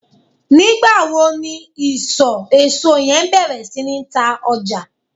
nigba wo ni iso eso yen beer si ni ta oja?